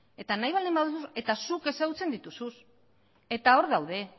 eta zuk ezagutzen dituzu eta hor daude